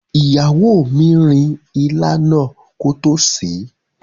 Ìyàwó mi rin ilá náà kótó sèé.